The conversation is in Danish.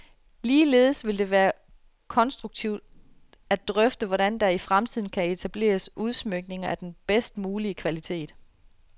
Ligeledes vil det være konstruktivt at drøfte, hvordan der i fremtiden kan etableres udsmykninger af den bedst mulige kvalitet.